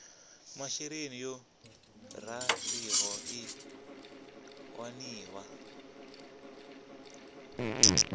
masheleni yo raliho i waniwa